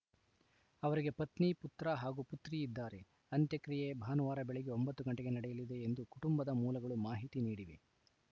ಅವರಿಗೆ ಪತ್ನಿ ಪುತ್ರ ಹಾಗೂ ಪುತ್ರಿ ಇದ್ದಾರೆ ಅಂತ್ಯಕ್ರಿಯೆ ಭಾನುವಾರ ಬೆಳಗ್ಗೆ ಒಂಬತ್ತು ಗಂಟೆಗೆ ನಡೆಯಲಿದೆ ಎಂದು ಕುಟುಂಬದ ಮೂಲಗಳು ಮಾಹಿತಿ ನೀಡಿವೆ